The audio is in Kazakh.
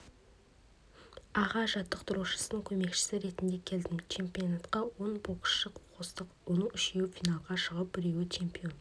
аға жаттықтырушысының көмекшісі ретінде келдім чемпионатқа он боксшы қостық оның үшеуі финалға шығып біреуі чемпион